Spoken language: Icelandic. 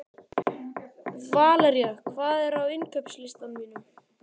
Valería, hvað er á innkaupalistanum mínum?